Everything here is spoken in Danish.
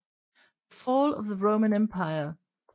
The Fall of the Roman Empire